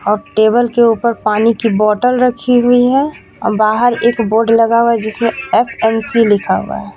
अब टेबल के ऊपर पानी की बोटल रखी हुई है बाहर एक बोर्ड लगा हुआ है जिसमें एफ_एम_सी लिखा हुआ है.